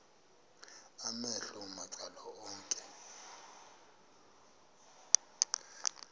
amehlo macala onke